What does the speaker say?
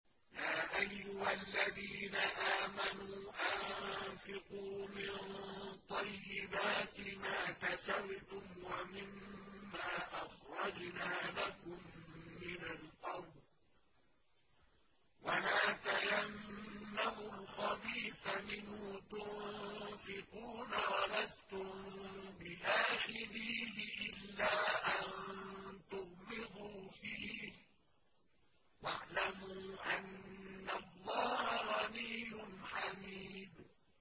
يَا أَيُّهَا الَّذِينَ آمَنُوا أَنفِقُوا مِن طَيِّبَاتِ مَا كَسَبْتُمْ وَمِمَّا أَخْرَجْنَا لَكُم مِّنَ الْأَرْضِ ۖ وَلَا تَيَمَّمُوا الْخَبِيثَ مِنْهُ تُنفِقُونَ وَلَسْتُم بِآخِذِيهِ إِلَّا أَن تُغْمِضُوا فِيهِ ۚ وَاعْلَمُوا أَنَّ اللَّهَ غَنِيٌّ حَمِيدٌ